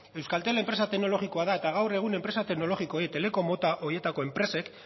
euskaltel enpresa teknologikoa da eta gaur egun enpresa teknologikoek teleko mota horietako enpresek